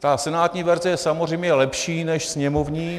Ta senátní verze je samozřejmě lepší než sněmovní.